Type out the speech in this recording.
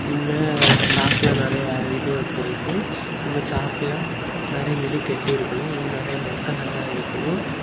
இங்க சாக்குல நெறையா இது வெச்சிருக்கு இங்க சாக்குல நெற இது கட்டிருக்கனு அங்க நெறைய மக்கள் எல்லா இருக்கனு.